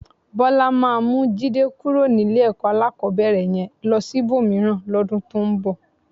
Bọ́lá máa mú Jídé kúrò ní ilé-ẹ̀kọ́ alákọ̀ọ́bẹ̀rẹ̀ yẹn lọ sí ibòmíràn lọ́dún tó ń bọ̀.